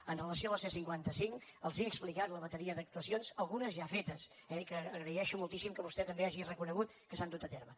amb relació a la c cinquanta cinc els he explicat la bateria d’actuacions algunes ja fetes eh i que agraeixo moltíssim que vostè també hagi reconegut que s’han dut a terme